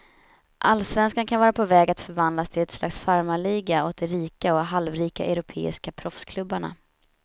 Allsvenskan kan vara på väg att förvandlas till ett slags farmarliga åt de rika och halvrika europeiska proffsklubbarna.